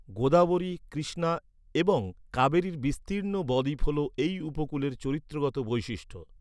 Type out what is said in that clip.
গোদাবরী, কৃষ্ণা এবং কাবেরির বিস্তির্ণ ব দ্বীপ হল এই উপকূলের চরিত্রগত বৈশিষ্ট্য।